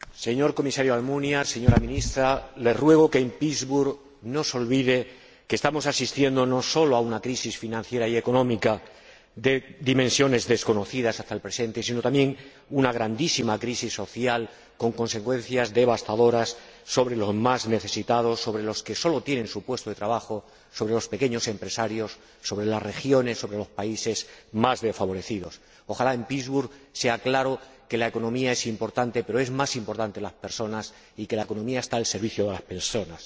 Señor Comisario Almunia, señora Ministra, les ruego que en Pittsburgh no se olviden de que estamos asistiendo no sólo a una crisis financiera y económica de dimensiones desconocidas hasta el presente, sino también a una grandísima crisis social con consecuencias devastadoras sobre los más necesitados, sobre los que sólo tienen su puesto de trabajo, sobre los pequeños empresarios, sobre las regiones y los países más desfavorecidos. Ojalá en Pittsburgh quede claro que la economía es importante, pero que son más importantes las personas y que la economía está al servicio de las personas.